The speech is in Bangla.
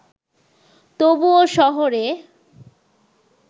তবুও শহরে